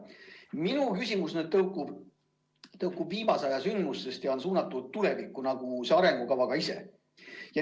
Minu küsimus tõukub viimase aja sündmustest ja on suunatud tulevikku nagu ka see arengukava ise.